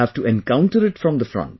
You have to encounter it from the front